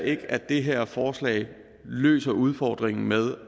ikke at det her forslag løser udfordringen med